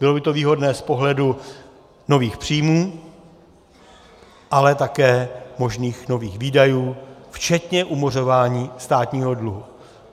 Bylo by to výhodné z pohledu nových příjmů, ale také možných nových výdajů včetně umořování státního dluhu.